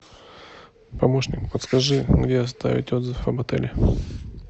помощник подскажи где оставить отзыв об отеле